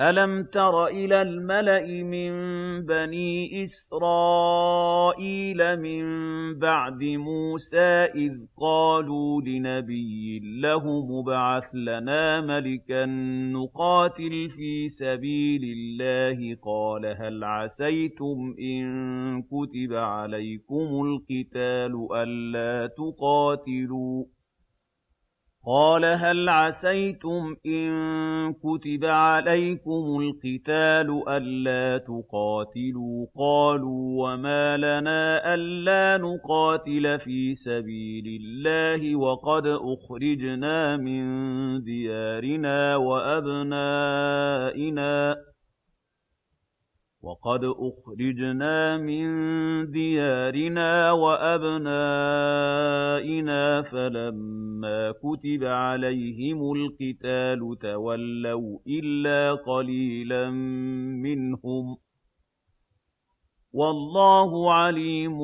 أَلَمْ تَرَ إِلَى الْمَلَإِ مِن بَنِي إِسْرَائِيلَ مِن بَعْدِ مُوسَىٰ إِذْ قَالُوا لِنَبِيٍّ لَّهُمُ ابْعَثْ لَنَا مَلِكًا نُّقَاتِلْ فِي سَبِيلِ اللَّهِ ۖ قَالَ هَلْ عَسَيْتُمْ إِن كُتِبَ عَلَيْكُمُ الْقِتَالُ أَلَّا تُقَاتِلُوا ۖ قَالُوا وَمَا لَنَا أَلَّا نُقَاتِلَ فِي سَبِيلِ اللَّهِ وَقَدْ أُخْرِجْنَا مِن دِيَارِنَا وَأَبْنَائِنَا ۖ فَلَمَّا كُتِبَ عَلَيْهِمُ الْقِتَالُ تَوَلَّوْا إِلَّا قَلِيلًا مِّنْهُمْ ۗ وَاللَّهُ عَلِيمٌ